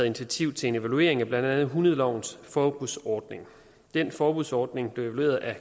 initiativ til en evaluering af blandt andet hundelovens forbudsordning den forbudsordning blev evalueret af